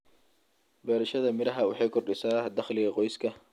Beerashada miraha waxay kordhisaa dakhliga qoyska.